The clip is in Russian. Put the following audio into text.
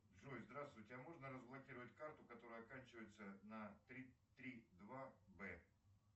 джой здравствуйте а можно разблокировать карту которая оканчивается на три три два б